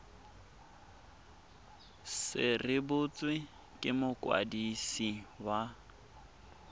se rebotswe ke mokwadisi wa